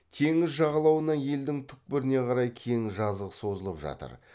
теңіз жағалауынан елдің түкпіріне қарай кең жазық созылып жатыр